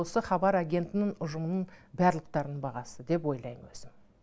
осы хабар агентінің ұжымының барлықтарының бағасы деп ойлайм өзім